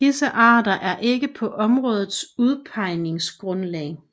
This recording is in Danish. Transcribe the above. Disse arter er ikke på områdets udpegningsgrundlag